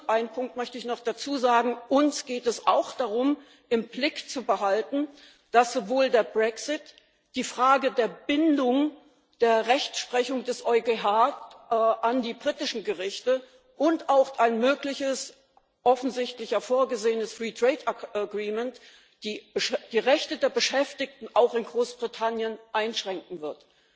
Einen Punkt möchte ich noch dazu sagen Uns geht es auch darum, im Blick zu behalten, dass der Brexit, die Frage der Bindung der Rechtsprechung des EuGH an die britischen Gerichte und auch ein mögliches, offensichtlich ja vorgesehenes Freihandelsabkommen die Rechte der Beschäftigten auch in Großbritannien einschränken wird.